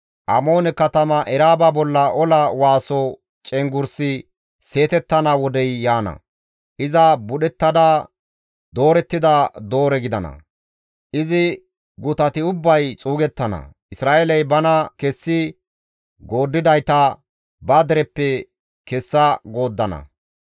Amoone katama Eraaba bolla ola waaso cenggurssi seetettana wodey yaana. Iza budhettada doorettida doore gidana; izi gutati ubbay xuugettana; Isra7eeley bana kessi gooddidayta ba dereppe kessa gooddana.